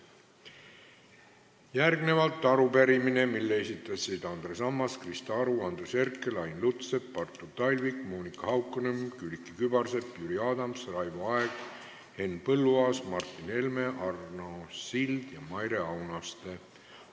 Järgmine on arupärimine, mille esitasid Andres Ammas, Krista Aru, Andres Herkel, Ain Lutsepp, Artur Talvik, Monika Haukanõmm, Külliki Kübarsepp, Jüri Adams, Raivo Aeg, Henn Põlluaas, Martin Helme, Arno Sild ja Maire Aunaste.